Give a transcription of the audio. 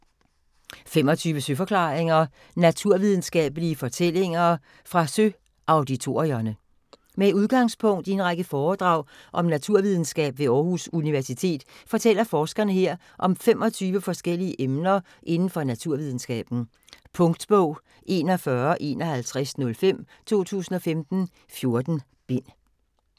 25 søforklaringer: naturvidenskabelige fortællinger fra Søauditorierne Med udgangspunkt i en række foredrag om naturvidenskab ved Århus Universitet fortæller forskere her om 25 forskellige emner indenfor naturvidenskaben. Punktbog 415105 2015. 14 bind.